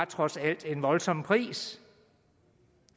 trods alt var en voldsom pris